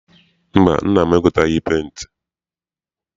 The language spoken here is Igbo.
Mba, nna m egoteghị penti.